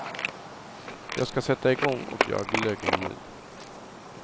Jag skall sätta igång och göra glöggen nu.